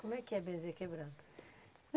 Como é que é benzer quebranto?